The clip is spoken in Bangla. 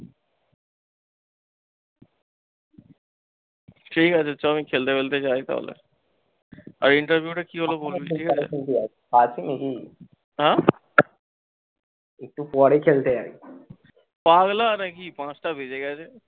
ঠিকাছে চও আমি খেলতে তেলতে যাই তাহলে। আর interview টা কি হল বলবি হ্যাঁ একটু পরে খেলতে যাবি ক্ষণ পাগলা নাকি পাঁচটা বেজে গেছে।